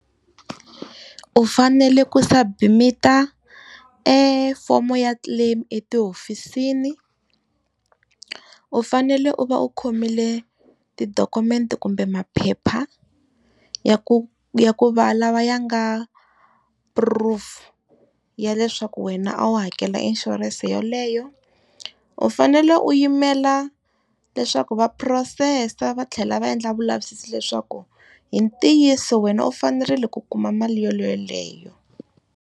U fanele ku submit-a e fomo ya claim etihofisini, u fanele u va u khomile tidokumente kumbe maphepha, ya ku ya ku va lawa ya nga proof ya leswaku wena a wu hakela insurance yeleyo, u fanele u yimela leswaku va phurosesa a va tlhela va endla vulavisisi leswaku hi ntiyiso wena u fanerile ku kuma mali yeleyo.